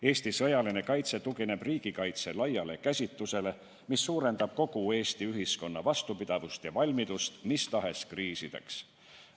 Eesti sõjaline kaitse tugineb riigikaitse laiale käsitusele, mis suurendab kogu Eesti ühiskonna vastupidavust ja valmidust mis tahes kriisideks.